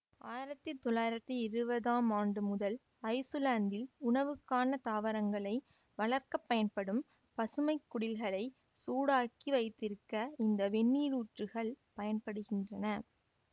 ஆயிரத்தி தொள்ளாயிரத்தி இருபதாம் ஆண்டு முதல் ஐசுலாந்தில் உணவுக்கான தாவரங்களை வளர்க்க பயன்படும் பசுமைக்குடில்களை சூடாக்கி வைத்திருக்க இந்த வெந்நீரூற்றுக்கள் பயன்படுகின்றன்